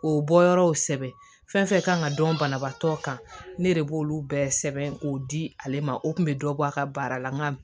O bɔyɔrɔw sɛbɛn fɛn fɛn kan ka dɔn banabaatɔ kan ne de b'olu bɛɛ sɛbɛn k'o di ale ma o kun be dɔ bɔ a ka baara la n ka